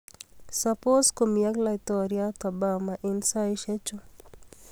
Saboos ko mii ak laitoriat obama eng saaisiechuu